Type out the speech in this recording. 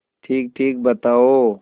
ठीकठीक बताओ